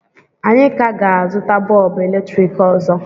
Anyị ka ga-azụta bọlbụ eletrik ọzọ